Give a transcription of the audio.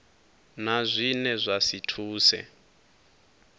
na zwine zwa si thuse